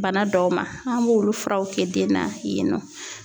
Bana dɔw ma, an b'olu furaw kɛ den na yen nɔ.